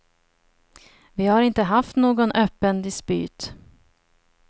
Vi har inte haft någon öppen dispyt.